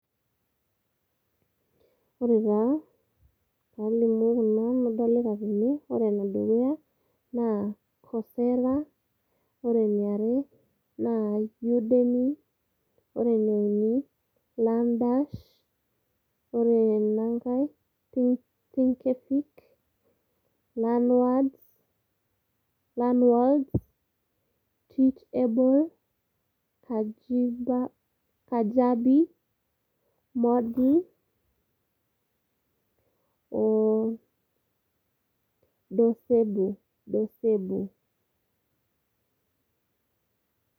ore taa palimu kuna nadolita tene ore ene dukuya naa coursera ,ore eniare naa udemy, ore ene uni naa learnDash ,ore ena nkae naa thinkfic , learnworlds, learworlds ,teachable, kajabi, moodle, docebo, docebo.